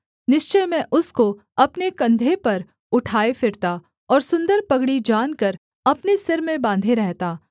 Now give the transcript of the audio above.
निश्चय मैं उसको अपने कंधे पर उठाए फिरता और सुन्दर पगड़ी जानकर अपने सिर में बाँधे रहता